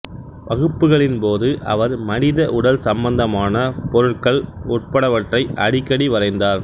வகுப்புகளின் போது அவர் மனித உடல் சம்பந்தமான பொருட்கள் உட்படவற்றை அடிக்கடி வரைந்தார்